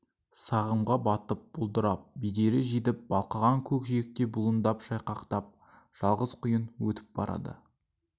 сағымға батып бұлдырап бедері жидіп балқыған көкжиекте бұлындап шайқақтап жалғыз құйын өтіп барады